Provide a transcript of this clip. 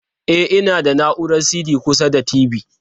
E, ina da na'urar CD kusa da TV.